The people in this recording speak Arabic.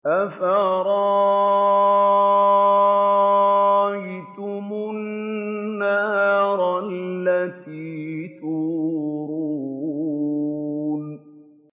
أَفَرَأَيْتُمُ النَّارَ الَّتِي تُورُونَ